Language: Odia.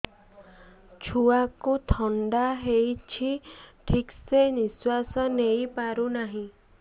ଛୁଆକୁ ଥଣ୍ଡା ହେଇଛି ଠିକ ସେ ନିଶ୍ୱାସ ନେଇ ପାରୁ ନାହିଁ